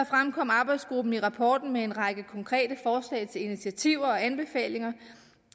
fremkom arbejdsgruppen i rapporten med en række konkrete forslag til initiativer og anbefalinger